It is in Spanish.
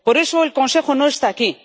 Por eso, el Consejo no está aquí.